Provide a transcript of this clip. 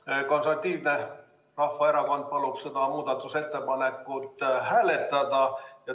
Eesti Konservatiivne Rahvaerakond palub seda muudatusettepanekut hääletada.